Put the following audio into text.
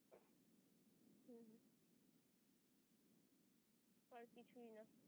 আর কিছুই না